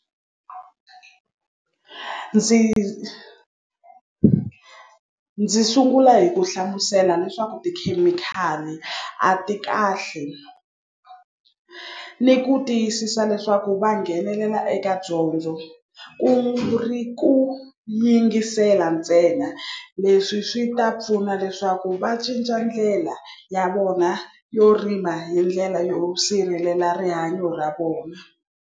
Ndzi ndzi sungula hi ku hlamusela leswaku tikhemikhali a ti kahle ni ku tiyisisa leswaku va nghenelela eka dyondzo kungu ri ku yingisela ntsena leswi swi ta pfuna leswaku va cinca ndlela ya vona yo rima hi ndlela yo sirhelela rihanyo ra vona.